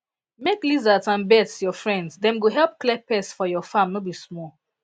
make lizards and birds your friend dem go help clear pests for your farm no be small